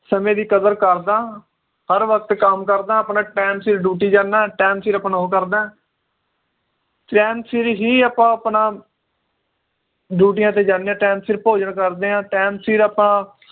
ਸਮੇ ਦੀ ਕਦਰ ਕਰਦਾਂ ਹਰ ਵਕਤ ਕੰਮ ਕਰਦਾਂ ਆਪਣਾ time ਸਿਰ ਜਾਨਾ time ਸਿਰ ਆਪਣੇ ਉਹ ਕਰਦਾਂ time ਸਿਰ ਹੀ ਆਪਾਂ ਆਪਣਾ ਡਿਊਟੀਆਂ ਤੇ ਜਾਣੇ ਆ time ਸਿਰ ਭੋਜਨ ਕਰਦੇ ਆ time ਸਿਰ ਆਪਾਂ